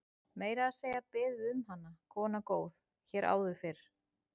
Meira að segja beðið um hana, kona góð, hér áður fyrr.